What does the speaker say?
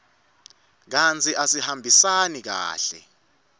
kantsi asihambisani kahle